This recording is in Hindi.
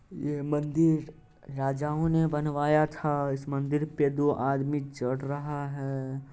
ये मंदिर राजाओ ने बनवाया था इस मंदिर पे दो आदमी चढ़ रहा है।